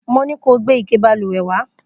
Mo ní kó o gbé ike balùwẹ̀ wá!